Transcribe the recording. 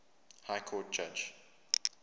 high court judge